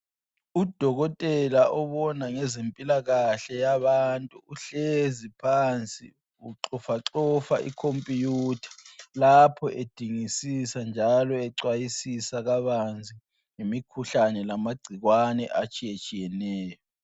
Udokotela obona ngezempilakahle yabantu uhlezi phansi uxofaxofa ikhompuyutha lapho edingisisa njalo ecwayisisa kabanzi ngemikhuhlane lamagcikwane atshiyetshiyeneyo.